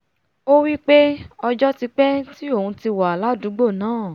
ó wípé ọjọ́ ti pẹ́ tí òun ti wà ládùúgbò náà